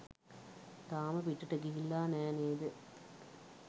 තාම පිටට ගිහිල්ලා නෑ නේද?